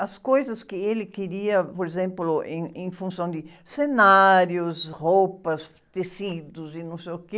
As coisas que ele queria, por exemplo, em, em função de cenários, roupas, tecidos e não sei o quê,